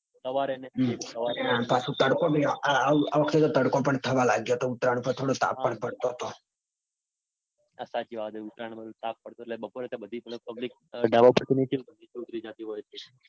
સવારે ને સવારે પાછું તડકો બી આ વખતે થોડોક તડકો પણ થવા લાગ્યો તો ઉત્તરાયણ વખતે થોડો તાપ પણ પડતો તો. હા સાચી વાત છે. ઉત્તરાયણમાં તાપ તો પડતો તો એટલે બપોરે બધી public ધાબા પરથી નીચે ઉતરી જાતિ હોય છે.